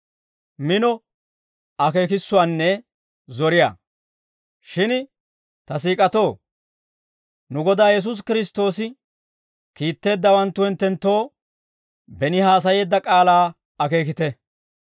Shin ta siik'atoo, nu Godaa Yesuusi Kiristtoosi kiitteeddawanttu hinttenttoo beni haasayeedda k'aalaa akeekite.